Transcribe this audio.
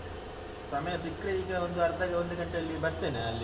ನಾನು ನೋಡ್ತೇನೆ ಈಗ ಅಹ್ ಸಮಯ ಸಿಕ್ರೆ ಈಗ ಒಂದು ಅರ್ಧ ಒಂದು ಗಂಟೆಯಲ್ಲಿ ಬರ್ತೆನೆ ಅಲ್ಲಿಗೆ.